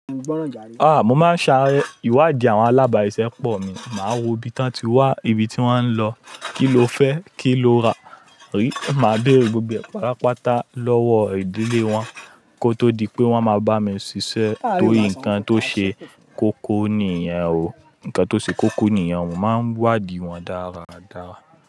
Ah! Mo máa ń sa ìwádìí àwọn alábàáye sẹ́pọ̀ mi, màá wo ibi tán ti wà, ibi tí wọ́n ń lọ, kí ló fẹ́, kí ló ra, rí. Màá béèrè gbogbo ẹ́, pàápàá tà lọ́wọ́ ìdílé wọn kó tó di pé wọ́n máa bá mi ṣiṣẹ́ tóri ǹkan tó ṣe kókó nìyẹn o. Ǹkan tó ṣe kókó nìyẹn o, mo máa ń wádìí wọn dáradára.